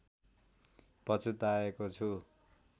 पछुताएको छु